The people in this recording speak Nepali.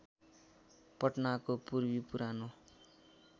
पटनाको पूर्वी पुरानो